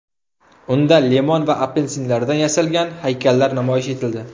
Unda limon va apelsinlardan yasalgan haykallar namoyish etildi.